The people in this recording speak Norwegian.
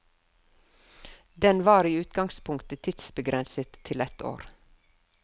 Den var i utgangspunktet tidsbegrenset til ett år.